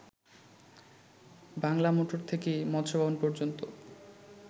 Bangla motor থেকে মৎস্য ভবন পর্যন্ত